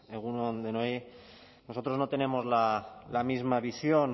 egun on denoi nosotros no tenemos la misma visión